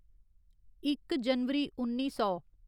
इक जनवरी उन्नी सौ